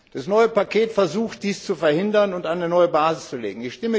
Das neue Paket versucht, dies zu verhindern und eine neue Basis zu legen.